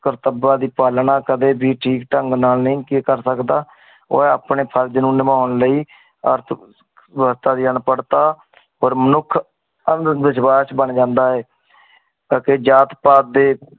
ਕਰਤੱਵਾਂ ਦੀ ਪਾਲਣਾ ਕਦੀ ਵੀ ਠੀਕ ਢੰਗ ਨਾਲ ਨਹੀਂ ਕਰ ਸਕਦਾ। ਓ ਆਪਣੇ ਫਰਜ ਨੂੰ ਨਿਬੋਨ ਲਯੀ ਅਰਥਵਿਵਸਥਾ ਦੇ ਅਨਪੜਤਾ ਮਨੁੱਖ ਅੰਧਵਿਸ਼ਵਾਸ ਬਣ ਜਾਂਦਾ ਹੈ। ਅਗੇ ਜਾਤ ਪਾਤ ਦੇ